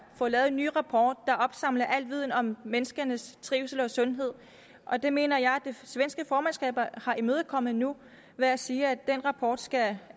få lavet en ny rapport der opsamler al viden om menneskenes trivsel og sundhed og det mener jeg at det svenske formandskab har imødekommet nu ved at sige at den rapport skal